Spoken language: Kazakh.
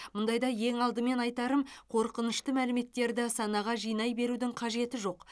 мұндайда ең алдымен айтарым қорқынышты мәліметтерді санаға жинай берудің қажеті жоқ